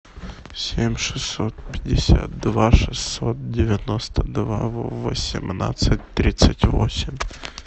семь шестьсот пятьдесят два шестьсот девяносто два восемнадцать тридцать восемь